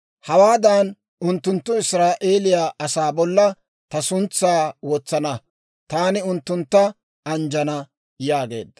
«Hawaadan unttunttu Israa'eeliyaa asaa bolla ta suntsaa wotsana, taani unttuntta anjjana» yaageedda.